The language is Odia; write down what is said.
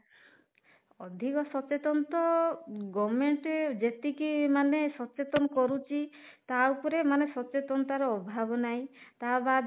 ଅଧିକ ସଚେତନ ତ government ଯେତିକି ମାନେ ସଚେତନ କରୁଛି ତା ଉପରେ ମାନେ ସଚେତନତା ର ଅଭାବ ନାହିଁ ତା